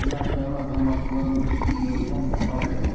cinayətçilərin azalmasından da möhkəm çalışırlar.